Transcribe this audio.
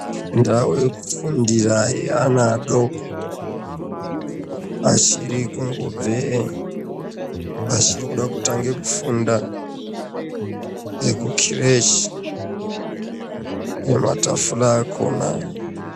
Ndau yekufundira yeana adoko achir ikungobve achiri kuda kutange kufunda nekukireshi nematafura akhona